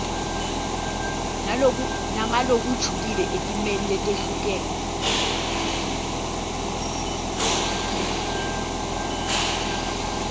nangalokujulile etimeni letehlukene